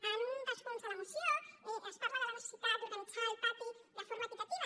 en un dels punts de la moció es parla de la necessitat d’organitzar el pati de forma equitativa